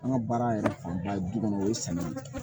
An ka baara yɛrɛ fanba ye du kɔnɔ o ye samiya ye